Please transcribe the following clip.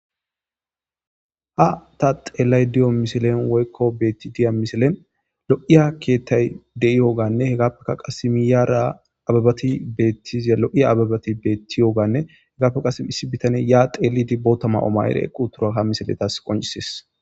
Ha ta xeela deiyo misileni woyikko beya deiyo misileni loiyo keeththayi deiyogganne hegappekka qase miyara abbebati betiza loiya abbebati betiyoga e heggappekka qasi issi bitanneyi ya xeliide botha mayo mayide eqi uttida ha misileyi qoncises